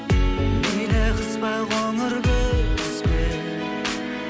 мейлі қыс па қоңыр күз бе